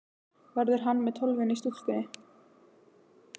Verður hann með Tólfunni í stúkunni?